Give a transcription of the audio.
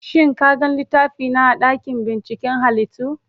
Shin ka gan littafina a dakin binciken halittu?